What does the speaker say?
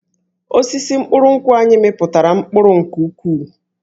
Osisi mkpụrụ nkwụ anyị mịpụtara mkpụrụ nke ukwuu